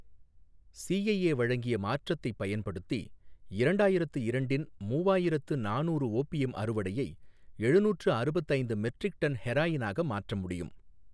CIA வழங்கிய மாற்றத்தைப் பயன்படுத்தி, இரண்டாயிரத்து இரண்டின் மூவாயிரத்து நானூறு ஓபியம் அறுவடையை எழுநூற்று அறுபத்து ஐந்து மெட்ரிக் டன் ஹெராயினாக மாற்ற முடியும்.